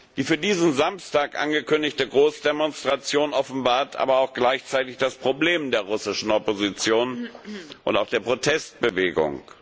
Die für diesen Samstag angekündigte Großdemonstration offenbart aber auch gleichzeitig das Problem der russischen Opposition und auch der Protestbewegung.